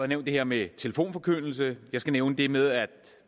nævnt det her med telefonforkyndelse jeg skal nævne det med at